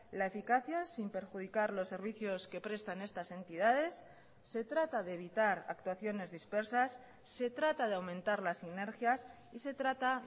la eficacia sin perjudicar los servicios que prestan estas entidades se trata de evitar actuaciones dispersas se trata de aumentar las sinergias y se trata